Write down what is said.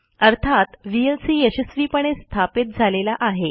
अर्थात व्हीएलसी यशस्वीपणे स्थापित झालेला आहे